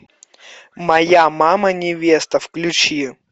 моя мама невеста включи